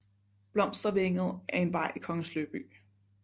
Blomstervænget er en vej i Kongens Lyngby